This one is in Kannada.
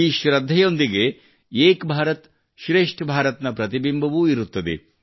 ಈ ಶ್ರದ್ಧೆಯೊಂದಿಗೆ ಏಕ್ ಭಾರತ್ ಶ್ರೇಷ್ಠ್ ಭಾರತ್ ನ ಪ್ರತಿಬಿಂಬವೂ ಇರುತ್ತದೆ